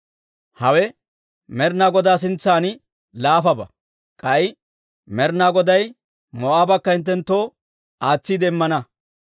Hawe Med'ina Godaa sintsan laafabaa; k'ay Med'ina Goday Moo'aabakka hinttenttoo aatsiide immana.